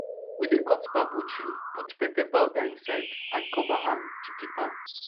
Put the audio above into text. we dey cut bamboo tree put pepper powder inside and cover am to keep am